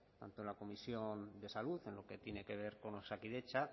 tanto en la comisión de salud en lo que tiene que ver con osakidetza